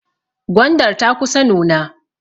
Gwandar ta kusa nuna.